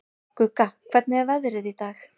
Gugga, hvernig er veðrið í dag?